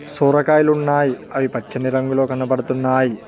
సొరకాయలు ఉన్నాయి అవి పచ్చని రంగులో కనబడుతున్నాయి.